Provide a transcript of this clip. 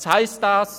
Was heisst das?